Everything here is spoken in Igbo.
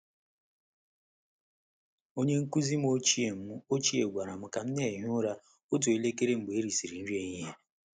Onye nkụzi m ochie m ochie gwara m ka m na-ehi ụra otu elekere mgbe erisịrị nri ehihie.